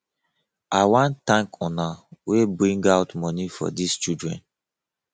i wan thank una wey bring out money for dis children